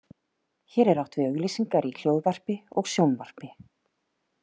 Hér er átt við auglýsingar í hljóðvarpi og sjónvarpi.